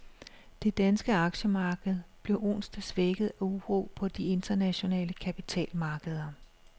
Det danske aktiemarked blev onsdag svækket af uro på de internationale kapitalmarkeder.